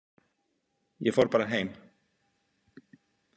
Ég fór bara heim.